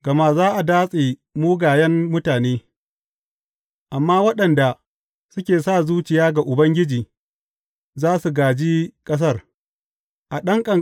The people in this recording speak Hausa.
Gama za a datse mugayen mutane, amma waɗanda suke sa zuciya ga Ubangiji za su gāji ƙasar.